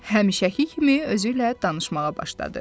Həmişəki kimi özü ilə danışmağa başladı.